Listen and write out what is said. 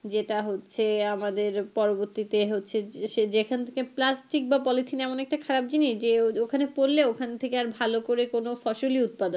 যেটা হচ্ছে আমাদের পরবর্তীতে হচ্ছে সে যেখান থেকে plastic বা পলিথিন এমন একটা খারাপ জিনিস যে ওখানে পড়লে ওখান থেকে আর ভালো করে কোনো ফসলই উৎপাদন হয়না।